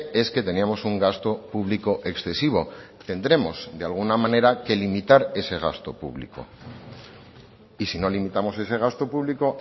es que teníamos un gasto público excesivo tendremos de alguna manera que limitar ese gasto público y si no limitamos ese gasto público